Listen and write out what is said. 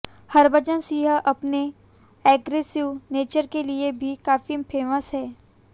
हरभजन सिंह अपने aggressive nature के लिए भी काफी फेमस हैं